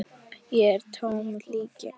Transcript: Ég er tómt hylki.